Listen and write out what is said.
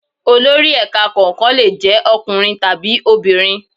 Olori ẹ̀ka kọ̀ọ̀kan lè jẹ́ ọkùnrin tàbí obìnrin.